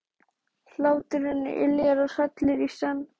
Hlátur hennar yljar og hrellir í senn.